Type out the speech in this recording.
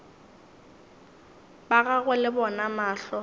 ba gagwe le bona mahlo